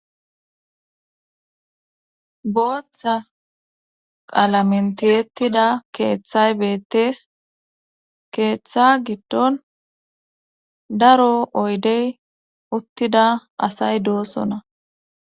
Booththa qalamentiyettida keeththay beettees keeththa giddon daro oydey uttida asay doosona